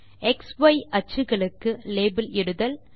X Y அச்சுக்களுக்கு label இடுதல்